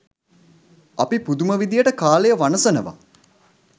අපි පුදුම විදිහට කාලය වනසනවා.